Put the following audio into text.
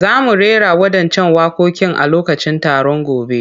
Za mu rera waɗancan waƙoƙin a lokacin taron gobe.